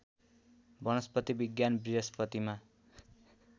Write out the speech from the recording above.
वनस्पति विज्ञान बृहस्पतिमा